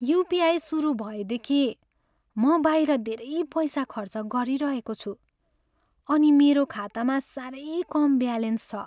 UPI सुरु भएदेखि म बाहिर धेरै पैसा खर्च गरिरहेको छु अनि मेरो खातामा साह्रै कम ब्यालेन्स छ।